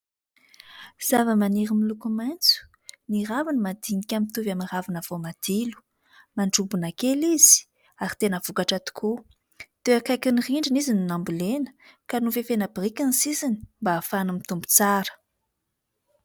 Zava-maniry miloko maintso, ny raviny madinika mitovy amin'ny ravina voamadilo, mandrombona kely izy ary tena vokatra tokoa; teo akaikin'ny rindrina izy no nambolena ka nofefena biriky ny sisiny mba hahafahany mitombo tsara.